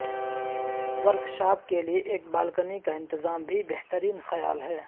workshop کے لئے ایک بالکنی کا انتظام بھی بہترین خیال ہے